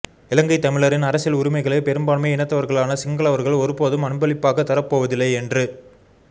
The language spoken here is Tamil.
இலங்கைத் தமிழரின் அரசியல் உரிமைகளை பெரும்பான்மை இனத்தவர்களான சிங்களவர்கள் ஒருபோதும் அன்பளிப்பாகத் தரப்போவதில்லை என்று